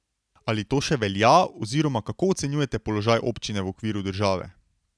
Ali to še velja oziroma kako ocenjujete položaj občine v okviru države?